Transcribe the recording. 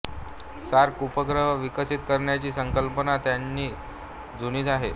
SAARC उपग्रह विकसित करण्याची संकल्पना तशी जुनी आहे